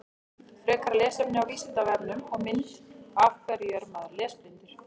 Frekara lesefni á Vísindavefnum og mynd Af hverju er maður lesblindur?